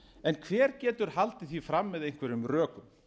en hver getur haldið því fram með einhverjum rökum